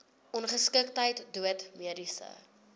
ongeskiktheid dood mediese